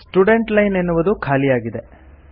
students line ಎನ್ನುವುದು ಖಾಲಿಯಾಗಿದೆ